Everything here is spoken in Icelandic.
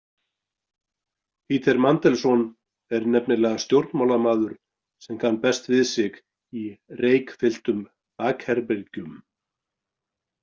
Peter Mandelson er nefnilega stjórnmálamaður sem kann best við sig í reykfylltum bakherbergjum.